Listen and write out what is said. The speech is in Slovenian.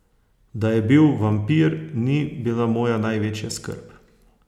Da je bil vampir, ni bila moja največja skrb.